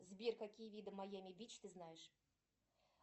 сбер какие виды майами бич ты знаешь